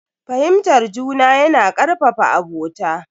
Fahimtar juna yana karfafa abota.